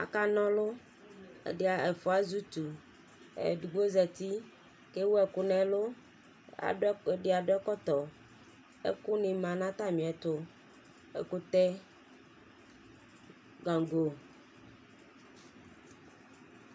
Akan'ɔlʋ, ɛdi, ɛfua z'utu, edigbo zati k'ewu ɛkʋ n'ɛlʋ, ɛdi adʋ ɛkɔtɔ, ɛkʋni ma n'atamiɛtʋ: ɛkʋtɛ,, gango